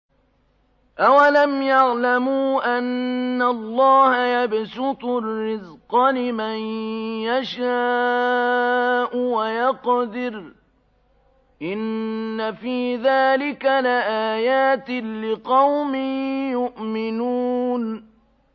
أَوَلَمْ يَعْلَمُوا أَنَّ اللَّهَ يَبْسُطُ الرِّزْقَ لِمَن يَشَاءُ وَيَقْدِرُ ۚ إِنَّ فِي ذَٰلِكَ لَآيَاتٍ لِّقَوْمٍ يُؤْمِنُونَ